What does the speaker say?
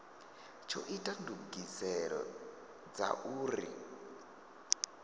tsho ita ndugiselo dza uri